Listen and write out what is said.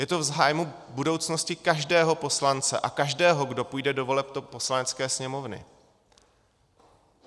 Je to v zájmu budoucnosti každého poslance a každého, kdo půjde do voleb do Poslanecké sněmovny.